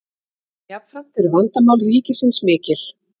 jafnframt eru vandamál ríkisins mikil